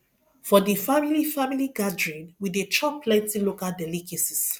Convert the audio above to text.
for di family family gathering we dey chop plenty local delicacies